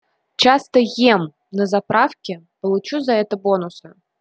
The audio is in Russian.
часто ем на заправке получу за это бонусы